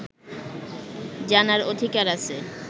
জানার অধিকার আছে